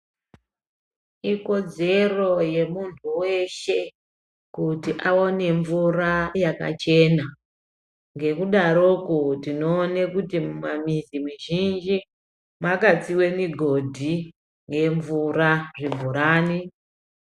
Ikodzero yemundu weshe kuti awane vhura yakachena ngekudaroko tinoone kuti mumamizi mizhinji makatsiwe migodhi yemvura zvibhorani.